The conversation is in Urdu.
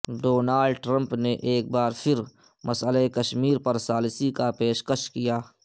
ڈونالڈ ٹرمپ نے ایک بار پھر مسئلہ کشمیر پر ثالثی کا پیشکش کیا